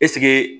Ɛseke